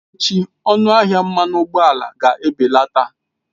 Echi ọnụ ahịa mmanụ ụgbọala ga-ebelata.